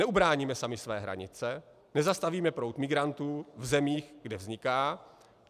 Neubráníme sami své hranice, nezastavíme proud migrantů v zemích, kde vzniká.